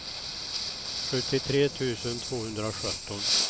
sjuttiotre tusen tvåhundrasjutton